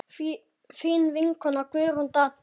Þín vinkona Guðrún Dadda.